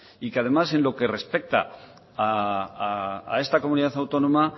y que además en lo que respecta a esta comunidad autónoma